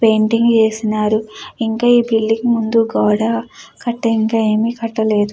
Painting వేసినారు ఇంకా ఈ బిల్డింగు ముందు గోడ కట్టి ఇంకా ఏమీ కట్టలేదు.